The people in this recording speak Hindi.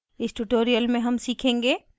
इस tutorial में हम सीखेंगे